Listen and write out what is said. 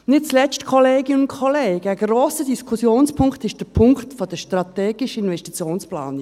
Nicht zuletzt, Kolleginnen und Kollegen, ist ein grosser Diskussionspunkt der Punkt der strategischen Investitionsplanungen.